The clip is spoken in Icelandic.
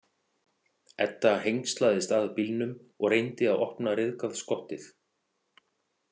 Edda hengslaðist að bílnum og reyndi að opna ryðgað skottið.